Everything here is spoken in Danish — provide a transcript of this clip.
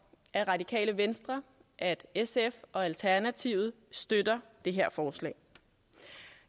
at radikale venstre at sf og alternativet støtter det her forslag